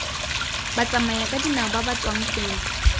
batsamayakadinao ba ba tswang gongwe